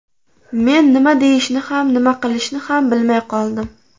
Men nima deyishni ham, nima qilishni ham bilmay qoldim.